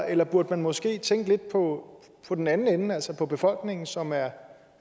eller burde man måske tænke lidt på på den anden ende altså på befolkningen som er